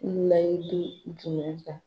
layidu jumɛn ta?